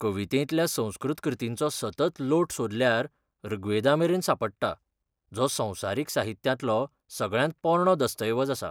कवितेंतल्या संस्कृत कृतींचो सतत लोट सोदल्यार ऋग्वेदामेरेन सांपडटा, जो संवसारीक साहित्यांतलो सगळ्यांत पोरणो दस्तऐवज आसा.